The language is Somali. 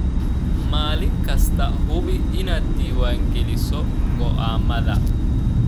Maalin kasta, hubi inaad diiwaan geliso go'aamada.